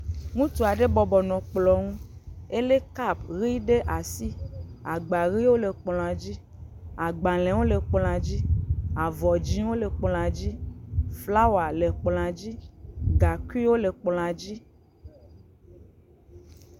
Ŋutsu aɖe bɔbɔ nɔ kplɔ ŋu, elé kap ʋi ɖe asi, agba ʋiwo le kplɔa dzi, agbalẽwo le kplɔa dzi, avɔ dzɛ̃wo le kplɔa dzi, flawa le kplɔa dzi, gaŋkuiwo le kplɔa dzi.